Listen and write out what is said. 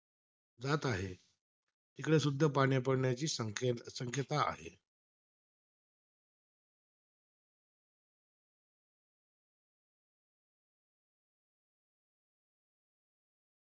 जात आहे. तिकडेसुद्धा पाणी पडण्याची संके संकेता आहे.